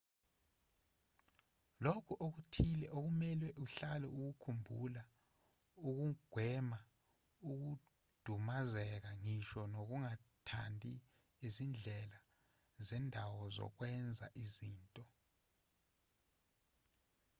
lokhu okuthile okumelwe uhlale ukukhumbula ukugwema ukudumazeka ngisho nokungathandi izindlela zendawo zokwenza izinto